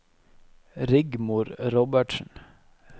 Rigmor Robertsen